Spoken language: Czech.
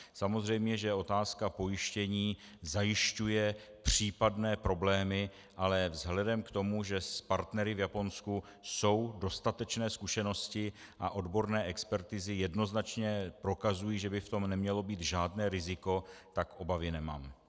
Samozřejmě že otázka pojištění zajišťuje případné problémy, ale vzhledem k tomu, že s partnery v Japonsku jsou dostatečné zkušenosti a odborné expertizy jednoznačně prokazují, že by v tom nemělo být žádné riziko, tak obavy nemám.